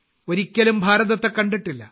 ഒരിക്കലും ഭാരതത്തെ കണ്ടിട്ടില്ല